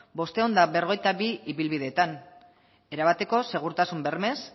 bostehun eta berrogeita bi ibilbideetan erabateko segurtasun bermez